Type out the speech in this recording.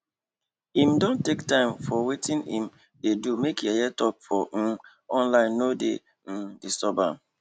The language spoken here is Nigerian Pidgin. im don take time for wetin im dey do make yeye talk for um online nor dey um disturb am